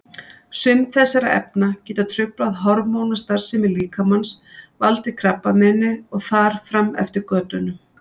Sum þessara efna geta truflað hormónastarfsemi líkamans, valdið krabbameini og þar fram eftir götunum.